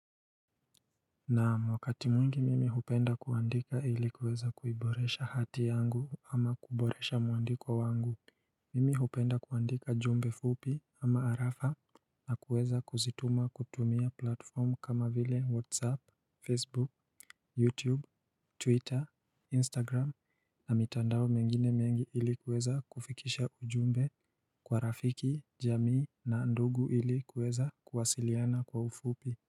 Naam wakati mwingi mimi hupenda kuandika ilikuweza kuiboresha hati yangu ama kuboresha mwandiko wangu Mimi hupenda kuandika jumbe fupi ama arafa na kuweza kuzituma kutumia platform kama vile Whatsapp, Facebook, Youtube, Twitter, Instagram na mitandao mengine mengi ili kuweza kufikisha ujumbe kwa rafiki, jamii na ndugu ilikuweza kuwasiliana kwa ufupi.